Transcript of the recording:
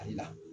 Ale la